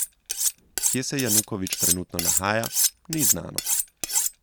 Kje se Janukovič trenutno nahaja, ni znano.